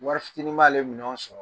Wari fitini b' a le minɛnw sɔrɔ.